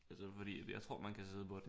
Altså fordi jeg tror at man kan sidde på den